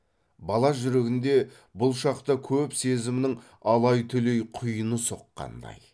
бала жүрегінде бұл шақта көп сезімнің алай түлей құйыны соққандай